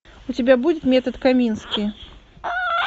у тебя будет метод комински